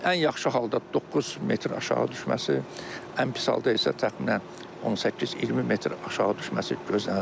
Ən yaxşı halda 9 metr aşağı düşməsi, ən pis halda isə təxminən 18-20 metr aşağı düşməsi gözlənilir.